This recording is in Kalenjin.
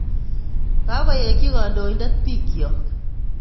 Kakoyeki kadoedet bikyok